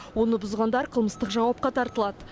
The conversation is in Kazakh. оны бұзғандар қылмыстық жауапқа тартылады